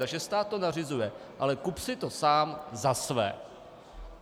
Takže stát to nařizuje, ale kup si to sám za své.